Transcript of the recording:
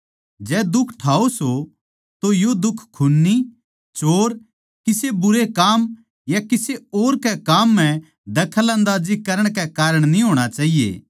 जै दुख ठाओ सों तो यो दुख खून्नी चोर किसे बुरे काम या किसे और के काम म्ह दखलंदाजी करण के कारण न्ही होणा चाहिए